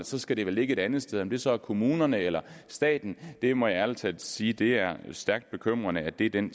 så skal det vel ligge et andet sted om det så er kommunerne eller staten jeg må ærligt talt sige at det er stærkt bekymrende at det er den